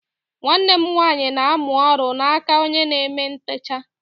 Nwanne m nwaanyị na-amụ oru n'aka onye na-eme ntecha.